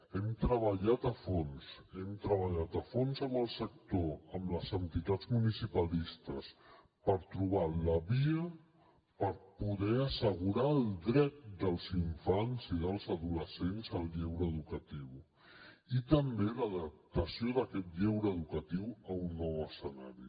hem treballat a fons hem treballat a fons amb el sector amb les entitats municipalistes per trobar la via per poder assegurar el dret dels infants i dels adolescents al lleure educatiu i també l’adaptació d’aquest lleure educatiu a un nou escenari